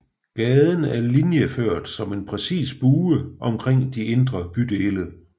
Gaden er linjeført som en præcis bue omkring de indre bydele